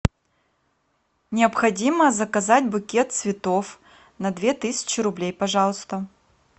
необходимо заказать букет цветов на две тысячи рублей пожалуйста